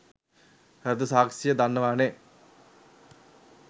හර්ද සාක්ෂිය දන්නවනේ